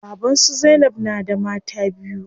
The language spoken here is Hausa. Baban su zainab na da mata biyu.